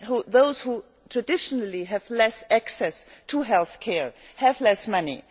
those who traditionally have less access to health care and have less money.